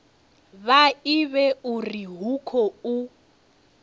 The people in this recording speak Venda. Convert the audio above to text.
vha ivhe uri hu khou